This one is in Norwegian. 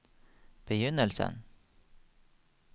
begynnelsen